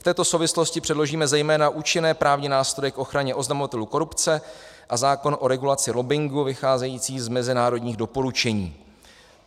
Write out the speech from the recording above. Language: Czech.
V této souvislosti předložíme zejména účinné právní nástroje k ochraně oznamovatelů korupce a zákon o regulaci lobbingu vycházející z mezinárodních doporučení."